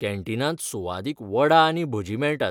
कॅन्टीनांत सुवादीक वडा आनी भजीं मेळटात.